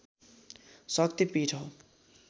शक्ति पीठ हो